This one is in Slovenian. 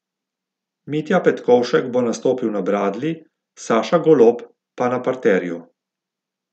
Mitja Petkovšek bo nastopil na bradlji, Saša Golob pa na parterju.